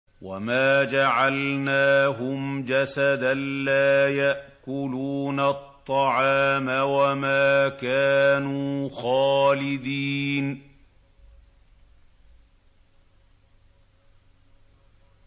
وَمَا جَعَلْنَاهُمْ جَسَدًا لَّا يَأْكُلُونَ الطَّعَامَ وَمَا كَانُوا خَالِدِينَ